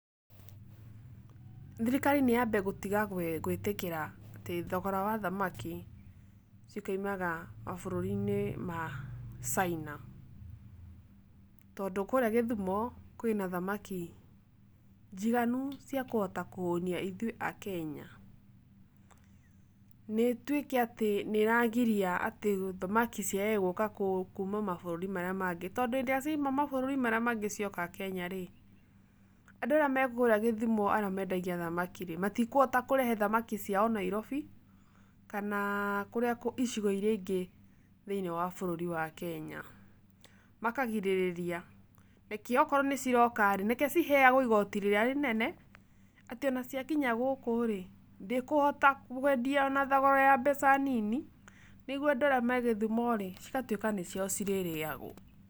Thirikari nĩyambe gũtiga gwĩtĩkĩra atĩ thogora wa thamaki cikaumaga mabũrũri-inĩ ma China. Tondũ kũrĩa Gĩthũmo, kwĩna thamaki njiganu cia kũhota kũhũnia ithuĩ akenya. Nĩ ĩtuĩke atĩ nĩragiria atĩ thamaki ciagage gũka kuma mabũrũri marĩa mangĩ, tondũ hĩndĩ ĩrĩa ciauma mabũrũri marĩa mangĩ cioka Kenya-rĩ, andũ arĩa me kũrĩa Gĩthumo arĩa mendagia thamaki-rĩ matũhota kũrehe thamaki ciao Nairobi, kana kũrĩa kũngĩ, icigo iria ingĩ thĩiniĩ wa bũrũri wa Kenya. Makagirĩrĩria, reke akorwo nĩciroka-rĩ, reke ciheagũo igoti rĩrĩa rĩnene, atĩ ona cia kinya gũkũ-rĩ, ndĩkũhota kwendio ona thogora ya mbeca nini, nĩguo andũ arĩa me Gĩthumo-rĩ cigatuĩka nĩciao cirĩrĩagũo.